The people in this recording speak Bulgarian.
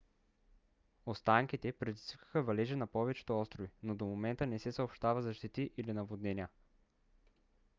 останките предизвикаха валежи на повечето острови но до момента не се съобщава за щети или наводнения